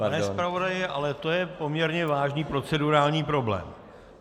Pane zpravodaji, ale to je poměrně vážný procedurální problém.